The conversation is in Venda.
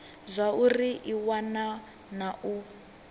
zwauri i wana na u